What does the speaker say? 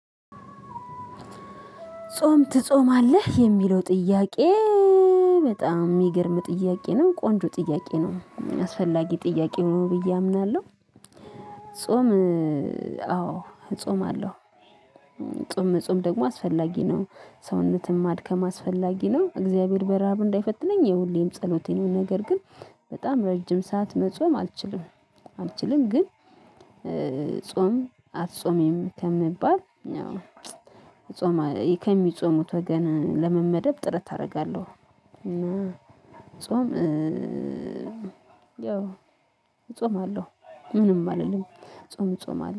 ጾም ትጾማለህ የሚለው ጥያቄ? በጣም የሚገርም ጥያቄ ነው ቆንጆ ጥያቄ ነው አስፈላጊ ጥያቄ ነው ብዬ አምናለሁ። ጾም ጾማለው። ጾም መጾም ደግሞ አስፈላጊ ነው። ሰውነትን ማድከም አስፈላጊ ነው። እግዚአብሔር በረሃብ እንዳይፈትነኝ የሁሌም ጸሎቴ ነው። ነገር ግን በጣም ረጅም ሰዓት መጾም አልችልም። አልችልም ግን። ጾም አትጾሚም ከምባል ጾም ከሚጾሙት ወገን ለመመደብ ጥረት አደርጋለሁ። ጾም ያው እጾማለሁ ምንም አልልም። ጾም እጾማለሁ አለ